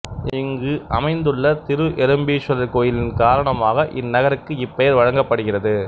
இங்கு அமைந்துள்ள திரு எறும்பீஸ்வரர் கோயிலின் காரணமாக இந்நகருக்கு இப்பெயர் வழங்கப்படுகிறது